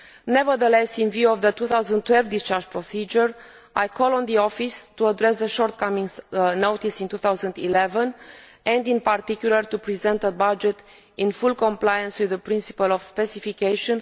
Nevertheless, looking forward to the 2012 discharge procedure, I call on the office to address the shortcomings noted in 2011, and in particular to present a budget in full compliance with the principle of specification.